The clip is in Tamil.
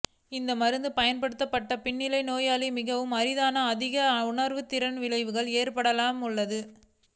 இந்த மருந்து பயன்படுத்தப்பட்டது பின்னணியில் நோயாளி மிகவும் அரிதான அதிக உணர்திறன் விளைவுகள் ஏற்படலாம் உள்ளது